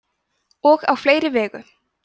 og á fleiri vegu